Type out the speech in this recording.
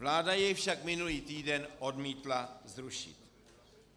Vláda jej však minulý týden odmítla zrušit.